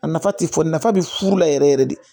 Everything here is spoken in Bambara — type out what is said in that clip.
A nafa tɛ fɔ nafa bɛ furu la yɛrɛ yɛrɛ de